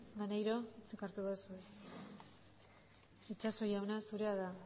itxaso jauna zurea da